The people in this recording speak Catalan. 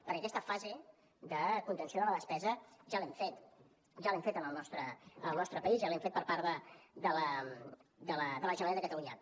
perquè aquesta fase de contenció de la despesa ja l’hem fet en el nostre país ja l’hem fet per part de la generalitat de catalunya